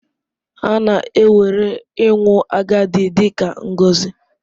A na-ewere ịnwụ agadi dị ka ngọzi.